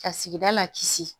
Ka sigida la kisi